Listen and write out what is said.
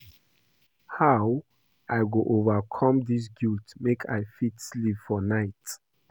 How I go overcome dis guilt make I fit sleep for night?